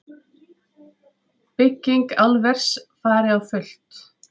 Bygging álvers fari á fullt